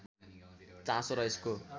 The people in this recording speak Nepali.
चासो र यसको